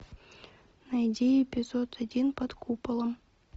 найди эпизод один под куполом